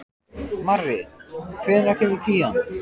Marri, hvenær kemur tían?